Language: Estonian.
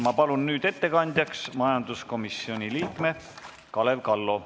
Ma palun nüüd ettekandjaks majanduskomisjoni liikme Kalev Kallo!